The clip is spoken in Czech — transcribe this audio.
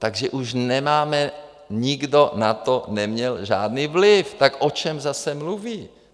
Takže už nemáme, nikdo na to neměl žádný vliv, tak o čem zase mluví?